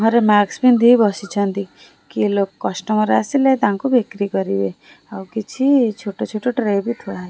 ଘରେ ମାକ୍ସ ପିନ୍ଧି ବସିଛନ୍ତି କିଏ ଲୋ କଷ୍ଟମର ଆସିଲେ ତାଙ୍କୁ ବିକ୍ରି କରିବେ ଆଉ କିଛି ଛୋଟ ଛୋଟ ଟ୍ରେ ବି ଥୁଆ ହେଇ--